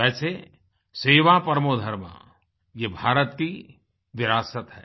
वैसे सेवा परमो धर्मःये भारत की विरासत है